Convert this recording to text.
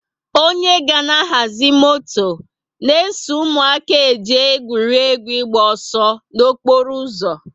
onye ga na ahazi moto na eso ụmụaka eje egwuregwu ịgba ọsọ na okporo ụzọ